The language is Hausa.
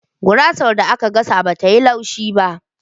Gurasar da aka gasa bata yi laushi.